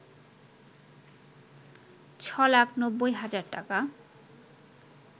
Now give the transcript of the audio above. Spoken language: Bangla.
৬ লাখ ৯০ হাজার টাকা